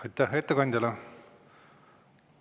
Aitäh ettekandjale!